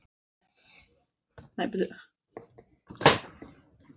Skömm þeirra er því mikil.